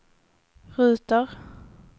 ruter